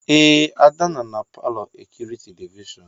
Ee, Ada nọ na palọ ekiri telivishọn